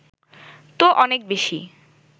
তো অনেক বেশি